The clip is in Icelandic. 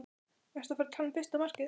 Ertu ekki að tala um fyrsta markið?